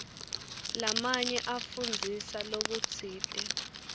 lamanye afundzisa lokutsite